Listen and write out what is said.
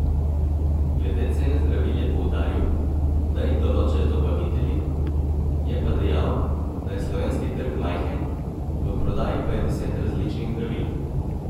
Glede cene zdravil je poudaril, da jih določajo dobavitelji, je pa dejal, da je slovenski trg majhen, v prodaji pa je deset različnih zdravil.